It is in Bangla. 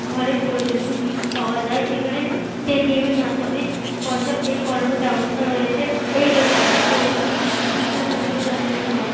ঘরের প্রয়োজনীয় জিনিস পাওয়া যায়। এখানে পেটিএম এর মাধ্যমে পয়সা পে করার ও ব্যবস্থা আছে। এই দোকানটিতে প্রতিদিন তিন হাজার টাকার বেচাকেনা হয়।